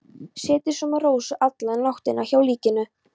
Setið svo með Rósu alla nóttina hjá líkinu.